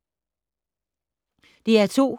DR2